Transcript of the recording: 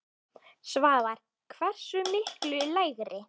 Svavar: Hversu miklu lægri?